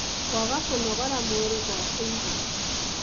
kwaga kũnogora mwĩrĩ gwa kũigana